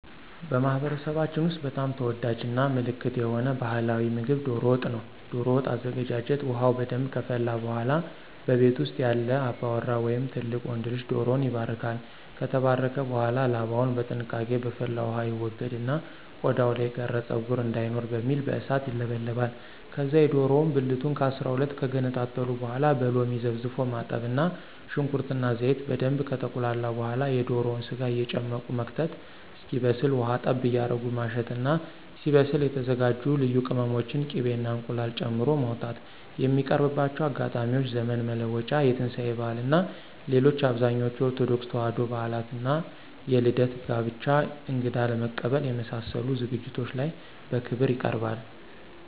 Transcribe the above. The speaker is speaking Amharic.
በማህበረሰባችን ውስጥ በጣም ተወዳጅ እና ምልክት የሆነ ባህላዊ ምግብ ዶሮ ወጥ ነው። ዶሮ ወጥ አዘገጃጀት ውሃው በደንብ ከፈላ በኃላ በቤት ውስጥ ያለ አባወራ ወይም ትልቅ ወንድ ልጅ ዶሮውን ይባርካል። ከተባረከ በኃላ ላባውን በጥንቃቄ በፈላው ውሃ ይወገድና ቆዳው ላይ የቀረ ፀጉር እንዳይኖር በሚል በእሳት ይለበለባል። ከዛ የዶሮውን ብልቱን ከ12 ከገነጣጠሉ በኃላ በሎሚ ዘፍዝፎ ማጠብ እና ሽንኩርት እና ዘይት በደንብ ከተቁላላ በኃላ የዶሮውን ስጋ እየጨመቁ መክተት እስኪበስል ውሃ ጠብ እያረጉ ማሸት እና ሲበስል የተዘጋጁ ልዩ ቅመሞችን፣ ቂቤ እና እንቁላል ጨምሮ ማውጣት። የሚቀርብባቸው አጋጣሚዎች ዘመን መለወጫ፣ የትንሳኤ በዓል እና ሌሎች አብዛኞቹ የኦርቶዶክስ ተዋሕዶ በዓላት ላይ እና የልደት፣ የጋብቻ፣ እንግዳ ለመቀበል የመሳሰሉት ዝግጅቶች ላይ በክብር ይቀርባል።